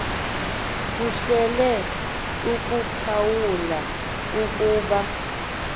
kuhle ukuphawula ukuba